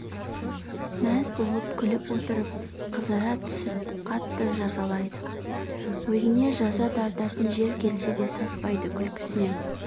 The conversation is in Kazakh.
мәз болып күліп отырып қызара түсіп қатты жазалайды өзіне жаза тартатын жер келсе де саспайды күлкісінен